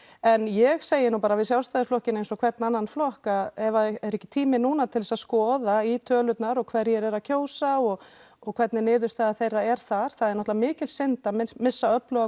en ég segi nú bara við Sjálfstæðisflokkinn eins og hvern annan flokk ef það er ekki tími núna til að skoða í tölurnar og hverjir eru að kjósa og og hvernig niðurstaða þeirra er þar það er náttúrulega mikil synd að missa